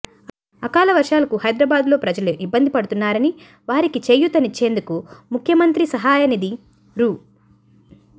అకాల వర్షాలకు హైదరాబాద్లో ప్రజలు ఇబ్బందులు పడుతున్నారని వారికి చేయూతనిచ్చేందుకు ముఖ్యమంత్రి సహాయ నిధి రూ